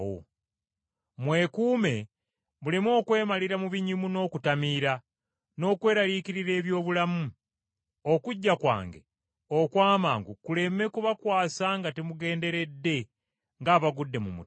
“Mwekuume muleme okwemalira mu binyumu n’okutamiira, n’okweraliikirira eby’obulamu, okujja kwange okw’amangu kuleme kubakwasa nga temugenderedde ng’abagudde mu mutego.